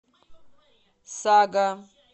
сага